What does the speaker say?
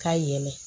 K'a yɛlɛ